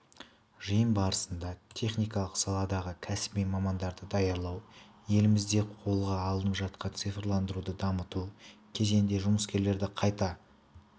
жиын барысында техникалық саладағы кәсіби мамандарды даярлау елімізде қолға алынып жатқан цифрландыруды дамыту кезенінде жұмыскерлерді қайта